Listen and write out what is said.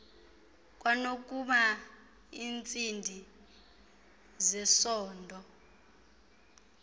kwanokuba iincindi zesondo